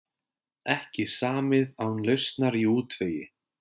Ekki samið án lausnar í útvegi